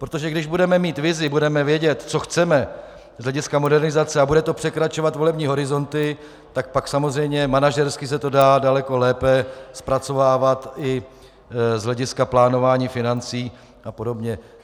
Protože když budeme mít vizi, budeme vědět, co chceme z hlediska modernizace, a bude to překračovat volební horizonty, tak pak samozřejmě manažersky se to dá daleko lépe zpracovávat i z hlediska plánování financí a podobně.